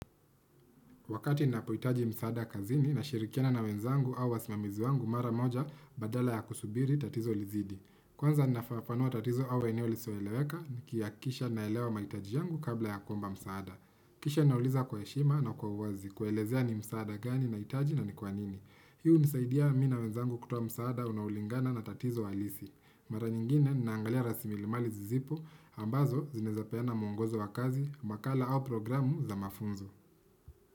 Wakati ninapohitaji msaada kazini na shirikiana na wenzangu au wasimamizi wangu mara moja badala ya kusubiri tatizo lizidi. Kwanza ninafafanua tatizo au eneo lisilo eleweka nikihakikisha naelewa mahitaji yangu kabla ya komba msaada. Kisha nauliza kwa heshima na kwa uwazi kuelezea ni msaada gani nahitaji na ni kwanini. Hii hunisaidia mimi na wenzangu kutoa msaada unaulingana na tatizo halisi. Mara nyingine naangalia rasimilimali zipo ambazo zinaweza peana mwongozo wa kazi, makala au programu za mafunzo.